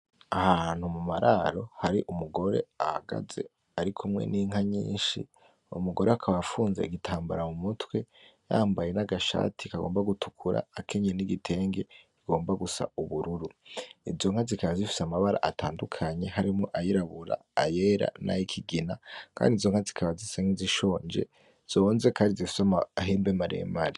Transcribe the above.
Ahantu mumararo hari umugore ahagaze ari kumwe n'inka nyinshi, umugore akaba afunze igitambara mu mutwe yambaye n'agashati kagomba gutukura akenyeye n'igitenge kigomba gusa ubururu, izo nka zikaba zifise amabara atandukanye harimwo ayirabura, ayera, nay'ikigina, kandi inzo nka zikaba zisa nk'izishonje zonze, kandi zifisa amahembe maremare.